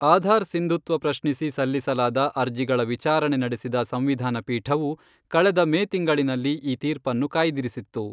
ಆಧಾರ್ ಸಿಂಧುತ್ವ ಪ್ರಶ್ನಿಸಿ ಸಲ್ಲಿಸಲಾದ ಅರ್ಜಿಗಳ ವಿಚಾರಣೆ ನಡೆಸಿದ ಸಂವಿಧಾನ ಪೀಠವು, ಕಳೆದ ಮೇ ತಿಂಗಳಿನಲ್ಲಿ ಈ ತೀರ್ಪನ್ನು ಕಾಯ್ದಿರಿಸಿತ್ತು.